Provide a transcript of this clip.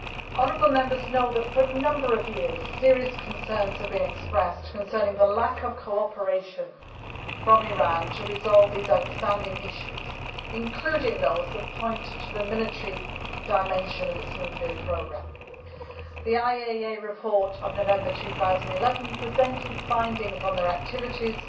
Honourable Members know that for a number of years serious concerns have been expressed concerning the lack of cooperation from Iran in resolving these outstanding issues, including those that point to the military dimension of its nuclear programme. The IAEA report of November 2011 presented findings on its activities